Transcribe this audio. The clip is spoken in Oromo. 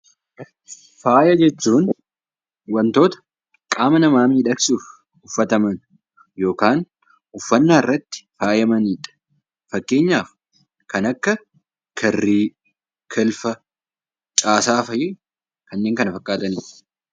Faaya jechuun waantota qaama namaa miidhagsuuf uffataman yookaan uffannaa irratti faayamaniidha. Fakkeenyaaf kan akka kirrii, kilfa, taasaa fa'ii fi kanneen kana fakkaatanidha.